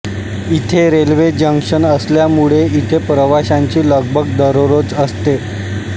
इथे railway junction असल्यामुळे इथे प्रवाशांची लगबग दररोज असते